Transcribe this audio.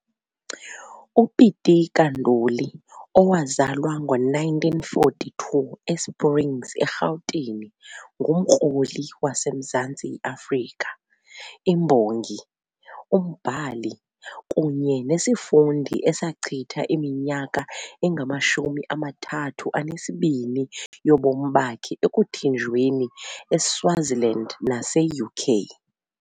UPitika Ntuli, owazalwa ngo-1942, e-Springs, eGauteng, ngumkroli wase-Mzantsi Afrika, imbongi, umbhali, kunye nesifundi esachitha iminyaka engama-32 yobomi bakhe ekuthinjweni eSwaziland nase-UK.